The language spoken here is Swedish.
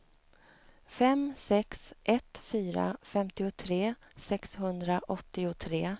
fem sex ett fyra femtiotre sexhundraåttiotre